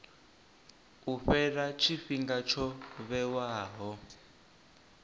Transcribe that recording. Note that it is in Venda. u fhela tshifhinga tsho vhewaho